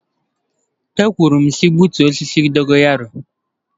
E wee m sị gbutuo osisi dogo yaro.